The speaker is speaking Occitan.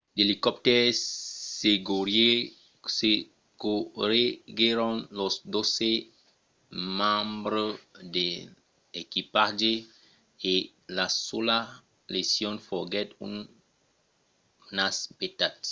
d’elicoptèrs secorreguèron los dotze membres d’equipatge e la sola lesion foguèt un nas petat